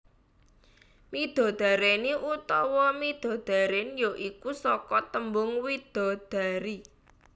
Midodareni utawa midodaren ya iku saka tembung widadari